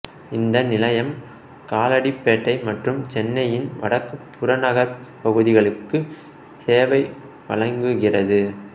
இந்த நிலையம் காலடிபேட்டை மற்றும் சென்னையின் வடக்கு புறநகர்ப் பகுதிகளுக்கு சேவை வழங்குகிறது